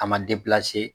A ma